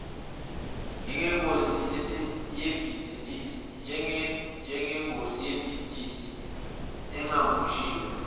njengengosi yebhizinisi engabunjiwe